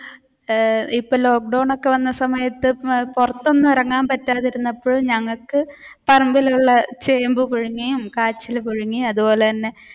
ഏർ ഇപ്പൊ lockdown ഒക്കെ വന്ന സമയത്തു പുറത്തൊന്നും ഇറങ്ങാതെ പറ്റാതെ ഇരുന്നപ്പോൾ ഞങ്ങൾക്ക് പറമ്പിലുള്ള ചേമ്പ് പുഴുങ്ങുകയും കാച്ചിൽ പുഴുങ്ങിയതും അതുപോലെ തന്നെ